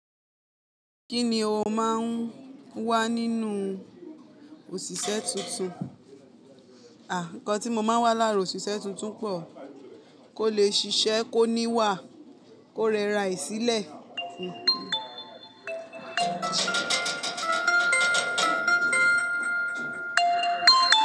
Kí ni o máà ń wá nínú òṣìṣẹ́ tuntun? Àh, ǹkan tí mo máa wà lára òṣìṣẹ́ tuntun pọ, kó lè ṣiṣẹ́, kó níwà, kó rẹra re sìlẹ́